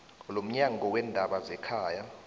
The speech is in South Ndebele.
lomnyango weendaba zekhaya